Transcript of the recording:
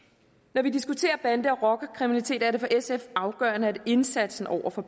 når vi diskuterer bande og rockerkriminalitet er det for sf afgørende at indsatsen over for